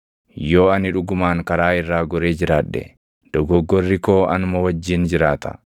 Yoo ani dhugumaan karaa irraa goree jiraadhe, dogoggorri koo anuma wajjin jiraata.